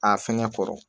A fɛngɛ kɔrɔ